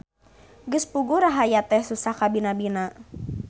Geus puguh rahayat teh susah kabina-bina.